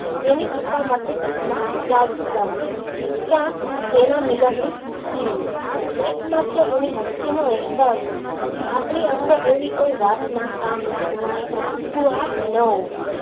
તેની કરતા મન ચિત્ત માં ઉપરથા તા હોય ક્યાંક તેના એક માત્ર વસ્તુ નો એવો અહેસાસ હોય આપણી આગે એવી વાત ના ન હોય